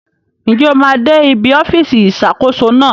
Njẹ óò máa dè ìbí ọfisi Ìṣàkóso náà